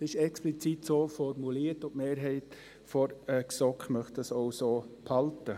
» Das ist explizit so formuliert, und die Mehrheit der GSoK möchte das auch so behalten.